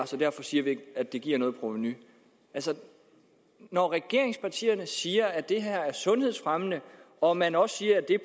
så derfor siger vi ikke at det giver noget provenu altså når regeringspartierne siger at det her er sundhedsfremmende og man også siger